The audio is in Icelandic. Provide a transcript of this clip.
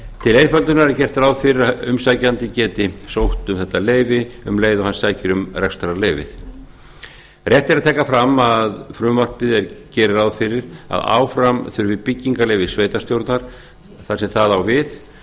til einföldunar er gert ráð fyrir að umsækjandi geti sótt um þetta leyfi um leið og hann sækir um rekstrarleyfi rétt er að taka fram að frumvarpið gerir ráð fyrir að áfram þurfi byggingarleyfi sveitarstjórnar þar sem það á við